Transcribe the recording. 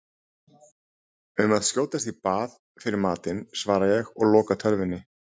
Um að skjótast í bað fyrir matinn, svara ég og loka tölvunni.